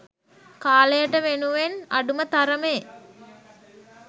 කාලයට වෙනුවෙන් අඩුම තරමේ